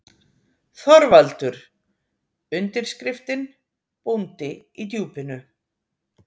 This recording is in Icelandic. ÞORVALDUR: Undirskriftin: Bóndi í Djúpinu!